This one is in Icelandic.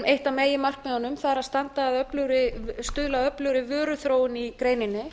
eitt af meginmarkmiðunum að stuðla að öflugri vöruþróun í greininni